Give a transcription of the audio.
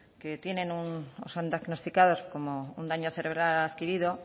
que tienen un o son diagnosticados como un daño cerebral adquirido